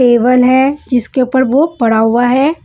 Table है जिसके ऊपर वह पड़ा हुआ है।